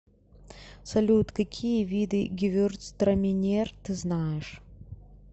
салют какие виды гевюрцтраминер ты знаешь